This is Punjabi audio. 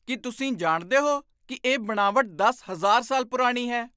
ਕੀ ਤੁਸੀਂ ਜਾਣਦੇ ਹੋ ਕੀ ਇਹ ਬਣਾਵਟ ਦਸ ਹਜ਼ਾਰ ਸਾਲ ਪੁਰਾਣੀ ਹੈ?